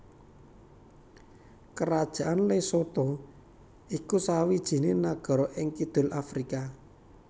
Kerajaan Lesotho iku sawijiné nagara ing kidul Afrika